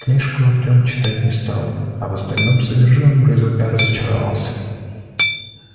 книжку артем читать не стал а в остальном содержимом рюкзака разочаровался